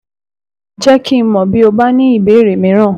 Jẹ́ kí n mọ̀ bí o bá ní ìbéèrè mìíràn